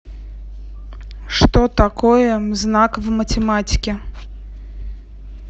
что такое знак в математике